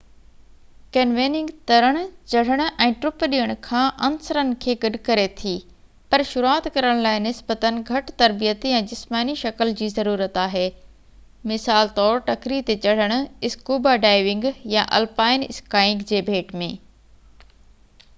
canyoning ترڻ، چڙهڻ ۽ ٽپ ڏيڻ کان عنصرن کي گڏ ڪري ٿي--پر شروعات ڪرڻ لاءِ نسبتاً گهٽ تربيت يا جسماني شڪل جي ضرورت آهي مثال طور ٽڪري تي چڙهڻ، اسڪوبا ڊائيونگ يا الپائن اسڪائينگ جي ڀيٽ ۾